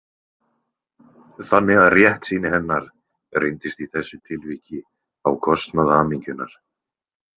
Þannig að réttsýni hennar reyndist í þessu tilviki á kostnað hamingjunnar.